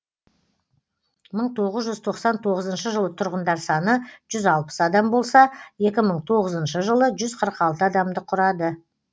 мың тоғыз жүз тоқсан тоғызыншы жылы тұрғындар саны жүз алпыс адам болса екі мың тоғызыншы жылы жүз қырық алты адамды құрады